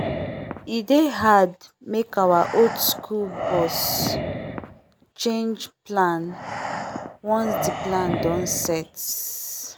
e dey hard make our old school boss change plan once the plan don set